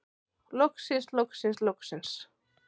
Loksins loksins loksins.